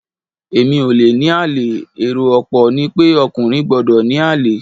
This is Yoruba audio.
Èmi ò le ní àlè, èrò ọ̀pọ̀ ni pé ọkùnrin gbọ́dọ̀ ní àlè.